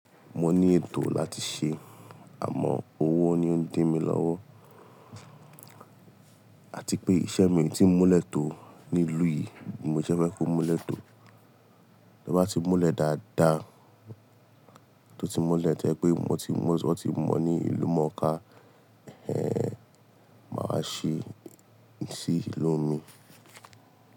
Mo ní ètò láti ṣe, àmọ́ owó ni ó ń dí mi lọ́wọ́. Àti pé iṣẹ́ mi tí ń múlẹ̀ tó nílùú yìí ni bi mo ṣe fẹ́ kó múlẹ̀ tó. Bí ó bá ti múlẹ̀ dáadáa, tó ti múlẹ̀ to jẹ pé wọn ti mọ ní ìlú mọ̀ọ́ká, máa ṣe.